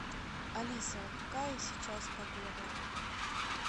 алиса какая сейчас погода